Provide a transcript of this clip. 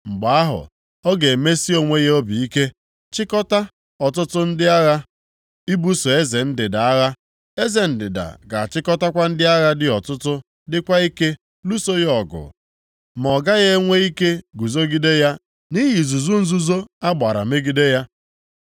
“Mgbe ahụ, ọ ga-emesi onwe ya obi ike, chịkọtaa ọtụtụ ndị agha ibuso eze ndịda agha. Eze ndịda ga-achịkọtakwa ndị agha dị ọtụtụ dịkwa ike lụso ya ọgọ ma ọ gaghị enwe ike guzogide ya nʼihi izuzu nzuzo a gbara megide ya.